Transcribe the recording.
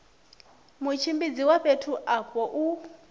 mutshimbidzi wa fhethu afho u